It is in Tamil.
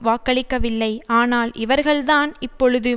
வாக்களிக்கவில்லை ஆனால் இவர்கள்தான் இப்பொழுது